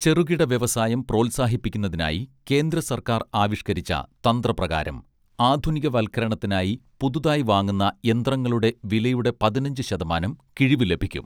ചെറുകിട വ്യവസായം പ്രോത്സാഹിപ്പിക്കുന്നതിനായി കേന്ദ്രസർക്കാർ ആവിഷ്കരിച്ച തന്ത്ര പ്രകാരം ആധുനികവത്കരണത്തിനായി പുതുതായി വാങ്ങുന്ന യന്ത്രങ്ങളുടെ വിലയുടെ പതിനഞ്ച് ശതമാനം കിഴിവ് ലഭിക്കും